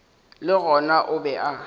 le gona o be a